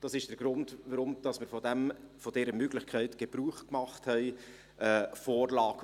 Dies ist der Grund, weshalb wir von der Möglichkeit, eine Vorlage aufzuteilen, Gebrauch gemacht haben.